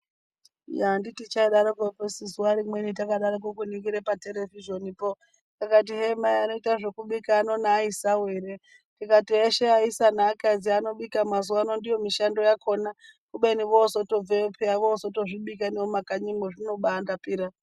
Yaa anditi chaidakwo su zuwa rimweni takaningire paterevhizhenipo kakato hee mai anoita zvekubika eshe neaisawo ere ndikati eshe aisa neakadzi anobika mazuwa ano ndomushando yakhona kubeni vozotobveyo peya vozotozvibika nemumakanyimwo zvinobaa ndapira.